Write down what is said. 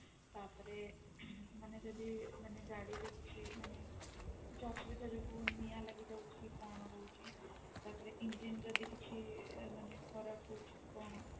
ତାପରେ ମାନେ ଯଦି ମାନେ ଗାଡି ରେ କିଛି ମାନେ କିଛି ଅସୁବିଧା ଯୋଗୁ ନିଆଁ ଲାଗିଯାଉଛି କି କଣ ରହୁଛି ତାପରେ engine ଯଦି କିଛି ମାନେ ଖରାପ କଣ